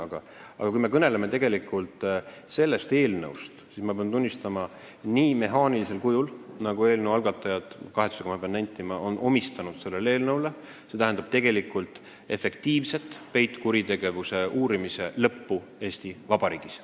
Aga tegelikult, kui me kõneleme konkreetsest eelnõust, siis ma pean tunnistama, et kui seda teha nii mehaanilisel kujul, nagu eelnõu algatajad – pean seda kahetsusega nentima – on pakkunud, siis see tähendab peitkuritegevuse uurimise lõppu Eesti Vabariigis.